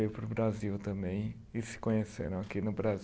Veio para o Brasil também e se conheceram aqui no Bra